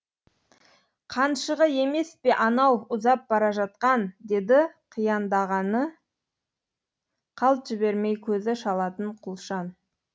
қаншығы емес пе анау ұзап бара жатқан деді қияндағыны қалт жібермей көзі шалатын құлшан